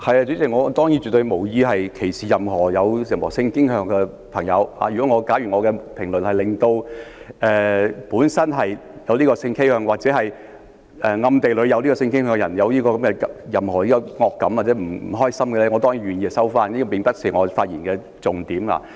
主席，我當然絕對無意歧視任何性傾向的人，假如我的言論令本身有這種性傾向或者暗地裏有這種性傾向的人有任何惡感或不開心，我當然願意收回，但這並不是我發言的重點。